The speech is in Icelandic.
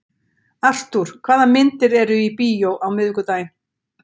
Artúr, hvaða myndir eru í bíó á miðvikudaginn?